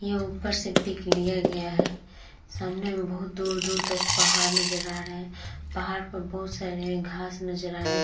ये उपर से पिक लिया गया है सामने में बहोत दूर-दूर तक पहाड़ नजर आ रहे पहाड़ पर बहोत सारे घास नजर आ रहे--